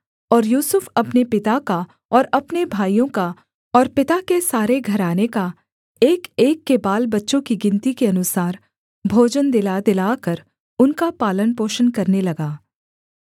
और यूसुफ अपने पिता का और अपने भाइयों का और पिता के सारे घराने का एकएक के बालबच्चों की गिनती के अनुसार भोजन दिलादिलाकर उनका पालनपोषण करने लगा